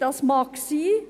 Das mag sein.